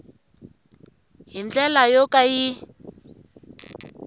hi ndlela yo ka yi